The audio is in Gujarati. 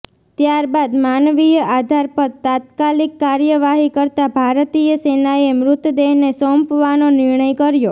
ત્યારબાદ માનવીય આધાર પર તાત્કાલિક કાર્યવાહી કરતા ભારતીય સેનાએ મૃતદેહને સોંપવાનો નિર્ણય કર્યો